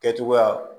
Kɛcogoya